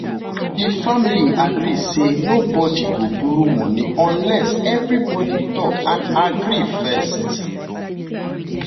di family agree say nobody go borrow money unless everybody talk and agree first.